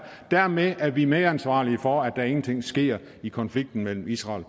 og dermed er vi medansvarlige for at der ingenting sker i konflikten mellem israel